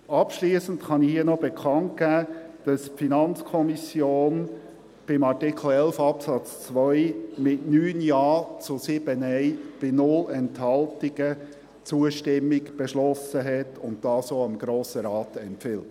Abschliessend kann ich hier noch bekannt geben, dass die FiKo beim Artikel 11 Absatz 2, mit 9 Ja- zu 7 Nein-Stimmen bei 0 Enthaltungen, Zustimmung beschlossen hat und dies auch dem Grossen Rat empfiehlt.